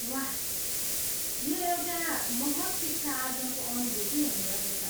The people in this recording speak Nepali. वाह! यो एउटा महत् शिक्षा आर्जनको अनुभूति हुने रहेछ।